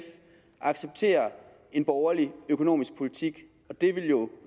accepterer en borgerlig økonomisk politik og det ville jo